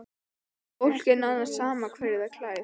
Fólki er nánast sama hverju það klæð